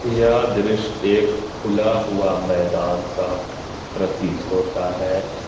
यह दृश्य एक खुला हुआ मैदान का प्रतीत होता है।